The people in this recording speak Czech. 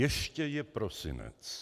Ještě je prosinec.